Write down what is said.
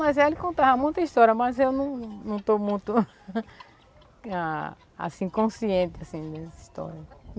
Mas ela contava muita história, mas eu não não estou muito, assim, consciente, assim, dessa história.